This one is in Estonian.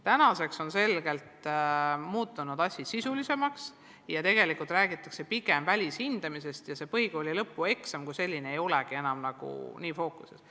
Tänaseks on asi muutunud selgelt sisulisemaks ja tegelikult räägitakse pigem välishindamisest ja põhikooli lõpueksam kui selline ei olegi enam nii väga fookuses.